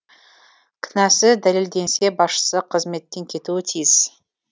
кінәсі дәлелденсе басшысы қызметтен кетуі тиіс